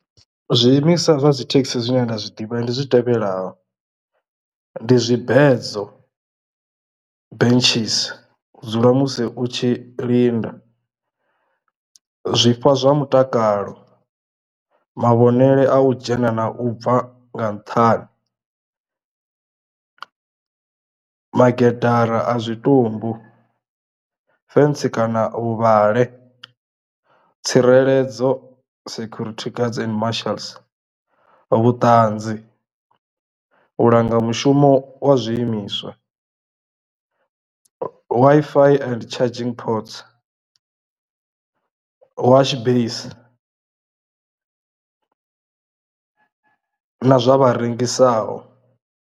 Zwiimiswa zwa dzi thekhisi zwine nda zwiḓivha ndi zwi tevhelaho ndi zwibedzo benches zwa musi u tshi linda, zwifha zwa mutakalo, mavhonele a u dzhena na u bva nga nṱhani, maketara a zwitumbu, fentsi kana vhu vhale, tsireledzo security guards and martials, vhuṱanzi, u langa mushumo wa zwiimiswa, Wi-Fi and charging pods, washbase na zwa vha rengisaho.